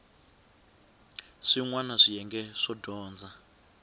swin wana swiyenge swo dyondza